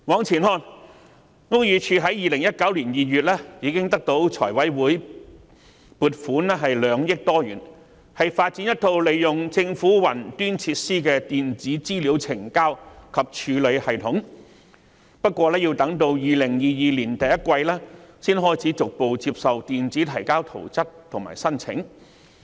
然而，屋宇署早已於2019年2月獲財務委員會撥款2億多元，以發展一套利用政府雲端設施的電子資料呈交及處理系統，但卻要到2022年第一季才開始逐步接受以電子方式提交圖則和申請。